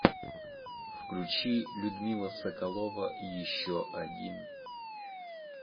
включи людмила соколова еще один